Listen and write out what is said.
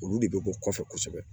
Olu de bɛ bɔ kɔfɛ kosɛbɛ